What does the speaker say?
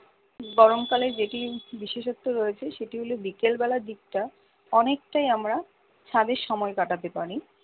গরমকালে যেটির বিশেষত্ব রয়েছে সেটি হলো বিকেল বেলার দিকটা অনেকটাই আমরা ছাদে সময় কাটাতে পারি